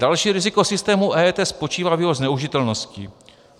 Další riziko systému EET spočívá v jeho zneužitelnosti.